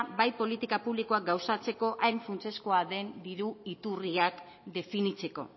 bai politiko publikoak gauzatzeko hain funtsezkoa den diru iturriak definitzeko